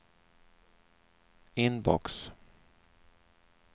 inbox